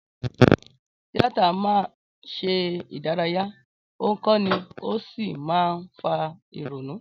Tíátà máa ń ṣe ìdárayá, ó ń kọ́ni, ó sì máa ń fa ìrònú.